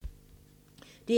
DR2